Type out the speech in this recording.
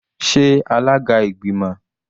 Sé alága ìgbìmọ̀?